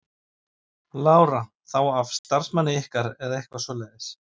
Lára: Þá af starfsmanni ykkar eða eitthvað svoleiðis?